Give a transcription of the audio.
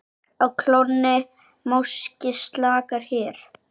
Á klónni máski slaka hér.